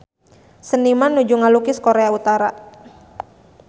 Seniman nuju ngalukis Korea Utara